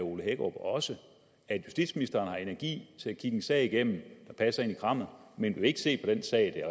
ole hækkerup også at justitsministeren har energi til at kigge en sag igennem der passer ind i hans kram men vil ikke se på den sag